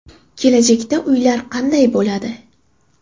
Kelajakda uylar qanday bo‘ladi?.